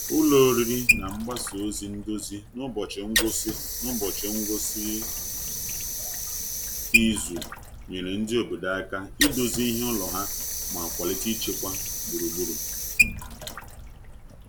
Ụlọ oriri na mgbasa ozi ndozi n’ụbọchị ngwụsị n’ụbọchị ngwụsị izu nyere ndị obodo aka idozi ihe ụlọ ha ma kwalite ịchekwa gburugburu.